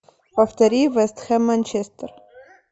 повтори вест хэм манчестер